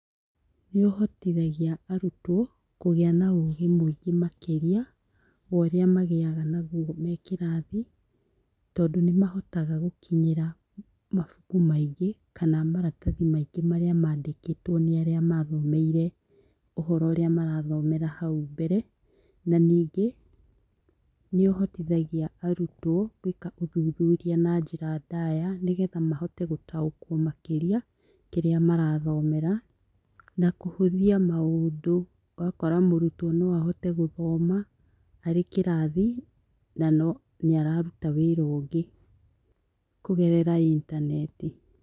Nĩ ũhotithagia arutwo kũgĩa na ũgĩ mũingĩ makĩria worĩa magĩaga naguo me kĩrathi tondũ nĩmahotaga gũkinyĩra mabuku maingĩ kana maratathi maingĩ marĩa mandĩkĩtwo nĩ arĩa mathomeire ũhoro ũrĩa marathomera hau mbere, na ningĩ nĩũhotithagia arutwo gwĩka ũthuthuria na njĩra ndaya nĩgetha mahote gũtaũkwo makĩria kĩrĩa marathomera na kuhũthia maũndũ ũgakora mũrũtwo no ahote gũthoma arĩ kĩrathi na no nĩ araruta wĩra ũngĩ kũgerera intaneti.